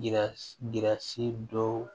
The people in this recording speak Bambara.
Yira si dɔw